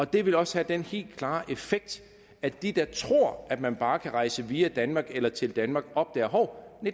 det vil også have den helt klare effekt at de der tror at man bare kan rejse via danmark eller til danmark opdager at hov